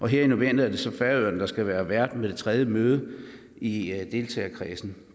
her i november er det så færøerne der skal være vært ved det tredje møde i deltagerkredsen